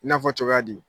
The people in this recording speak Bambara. I n'a fɔ cogoya di